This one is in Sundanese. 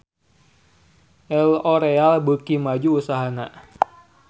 L'oreal beuki maju usahana